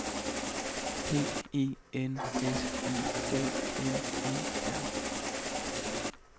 P E N S I O N E R